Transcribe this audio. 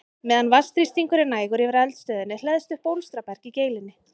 Meðan vatnsþrýstingur er nægur yfir eldstöðinni hleðst upp bólstraberg í geilinni.